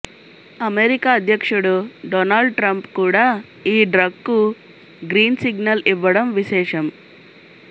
America అధ్యక్షుడు Donald Trump కూడా ఈ డ్రగ్కు గ్రీన్ సిగ్నల్ ఇవ్వడం విశేషం